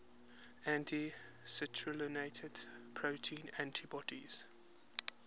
anti citrullinated protein antibodies